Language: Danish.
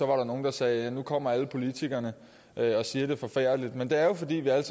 var der nogle der sagde nu kommer alle politikerne og siger det er forfærdeligt men det er jo fordi vi alle